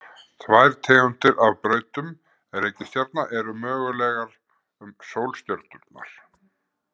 Tvær tegundir af brautum reikistjarna eru mögulegar um sólstjörnurnar.